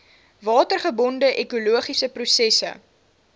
watergebonde ekologiese prosesse